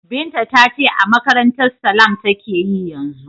Binta ta ce a makarantar Salam take yi yanzu.